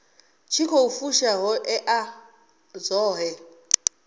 tshi khou fusha ṱhoḓea dzoṱhe